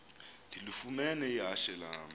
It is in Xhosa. ndilifumene ihashe lam